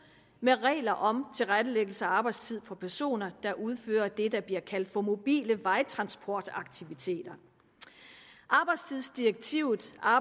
med regler om tilrettelæggelse af arbejdstid for personer der udfører det der bliver kaldt mobile vejtransportaktiviteter arbejdstidsdirektivet har